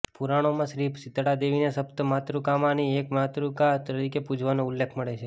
પુરાણોમાં શ્રી શીતળા દેવીને સપ્ત માતૃકામાંની એક માતૃકા તરીકે પૂજવાનો ઉલ્લેખ મળે છે